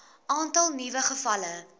aantal nuwe gevalle